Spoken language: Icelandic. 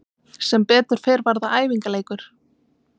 Sem betur fer var það æfingaleikur.